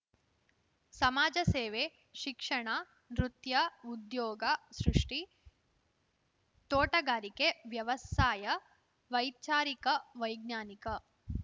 ಸಮಾಜ ಸೇವೆ ಶಿಕ್ಷಣ ನೃತ್ಯ ಉದ್ಯೋಗ ಸೃಷ್ಟಿ ತೋಟಗಾರಿಕೆ ವ್ಯವಸಾಯ ವೈಚಾರಿಕ ವೈಜ್ಞಾನಿಕ